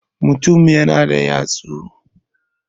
mutum yana da yatsu